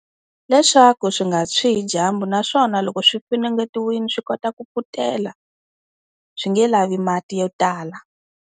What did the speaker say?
leswaku swi nga tshwi hi dyambu naswona loko swi funengetiwile swi kota ku pfutela swi nge lavi mati yo tala.